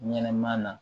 Ɲɛnɛma na